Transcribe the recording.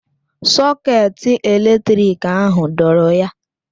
Sọketị eletrik ahụ dọọrọ ya.